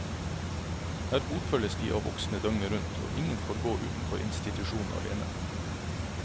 Her fotfølges de av voksne døgnet rundt, og ingen får gå utenfor institusjonen alene.